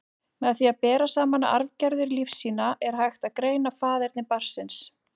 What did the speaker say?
Með því að bera saman arfgerðir lífsýna, er hægt að greina faðerni barns.